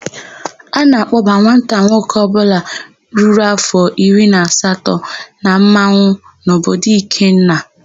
A na-akpọba nwata nwoke ọbụla ruru áfọ̀ iri na asatọ na mmanwụ n'obodo Ikenna.